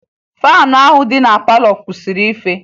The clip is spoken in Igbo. faanụ ahụ dị na palọ kwụsịrị ife